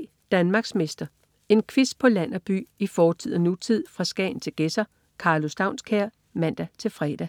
13.03 Danmarksmester. En quiz på land og by, i fortid og nutid, fra Skagen til Gedser. Karlo Staunskær (man-fre)